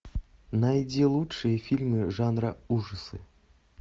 найди лучшие фильмы жанра ужасы